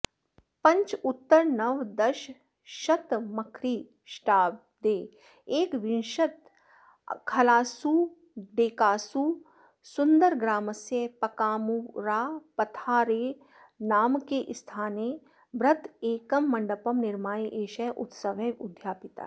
पञ्चोत्तरनवदशतमख्रीष्टाब्दे एकविंशतिखलासु डेकासुन्दरग्रामस्य पकामूरापथारेनामके स्थाने बृहदेकं मण्डपं निर्माय एषः उत्सवः उद्यापितः